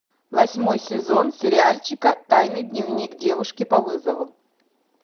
восьмой сезон сериальчика тайный дневник девушки по вызову